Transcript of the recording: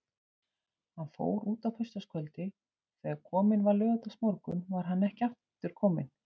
Hann fór út á föstudagskvöldi og þegar kominn var laugardagsmorgunn var hann ekki kominn aftur.